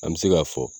An bɛ se k'a fɔ